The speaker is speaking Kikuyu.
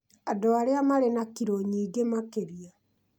andũ arĩa marĩ na kiro nyingĩ makĩria